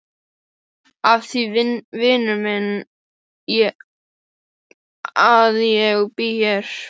Af því vinur minn að ég bý hér.